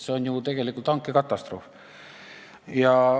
See on tegelikult hankekatastroof.